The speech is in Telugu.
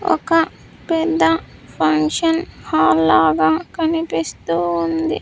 ఒక పెద్ద ఫంక్షన్ హాల్ లాగా కనిపిస్తూ ఉంది.